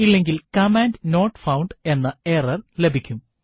ഇല്ലെങ്കിൽ command not found എന്ന error ലഭിക്കും